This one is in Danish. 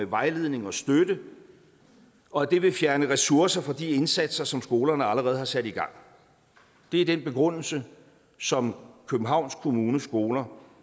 vejledning og støtte og at det vil fjerne ressourcer fra de indsatser som skolerne allerede har sat i gang det er den begrundelse som københavns kommunes skoler